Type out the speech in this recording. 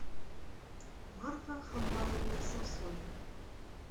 марфа хамбаловна самсонова